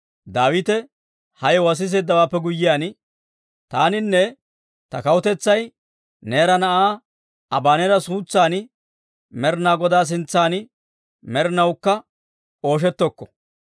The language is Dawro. Daawite ha yewuwaa siseeddawaappe guyyiyaan, «Taaninne ta kawutetsay Neera na'aa Abaneera suutsan Med'inaa Godaa sintsan med'inawukka ooshettokko.